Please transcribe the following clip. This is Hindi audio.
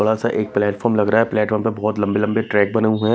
बड़ा सा एक प्लेटफार्म लग रहा है प्लेटफार्म पर बहोत लम्बे लम्बे ट्रैक बने हुए हैं।